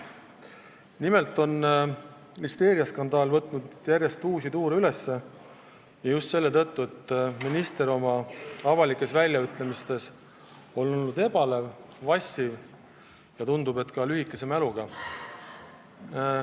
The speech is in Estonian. Nimelt on listeeriaskandaal võtnud üles järjest uusi tuure ja seda just selle tõttu, et minister on avalikes väljaütlemistes olnud ebalev ja vassiv ning tundub, et ka lühikese mäluga.